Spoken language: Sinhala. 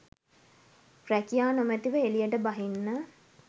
රැකියා නොමැතිව එළියට බහින්න